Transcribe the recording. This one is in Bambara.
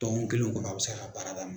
Dɔɔkun kelen kɔnɔ a' bɛ se k'a baara dam